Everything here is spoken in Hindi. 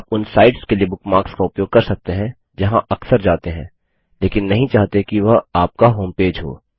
आप उन साइट्स के लिए बुकमार्क्स का उपयोग कर सकते हैं जहाँ अक्सर जाते हैं लेकिन नहीं चाहते कि वह आपका होमपेज हो